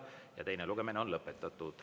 Ja teine lugemine on lõpetatud.